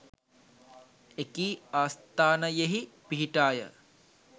එකී ආස්ථානයෙහි පිහිටාය.